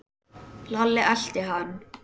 Lalli elti hann.